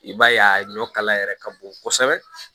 I b'a ye a ɲɔ kala yɛrɛ ka bon kosɛbɛ